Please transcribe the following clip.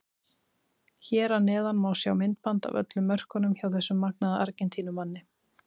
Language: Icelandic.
Hér að neðan má sjá myndband af öllum mörkunum hjá þessum magnaða Argentínumanni.